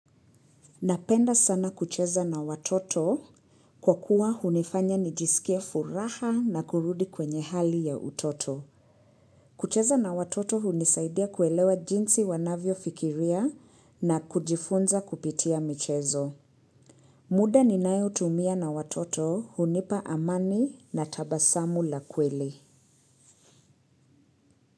Napenda sana kucheza na watoto kwa kuwa hunifanya nijisikie furaha na kurudi kwenye hali ya utoto. Kucheza na watoto hunisaidia kuelewa jinsi wanavyo fikiria na kujifunza kupitia michezo. Muda ninayo tumia na watoto hunipa amani na tabasamu la kweli.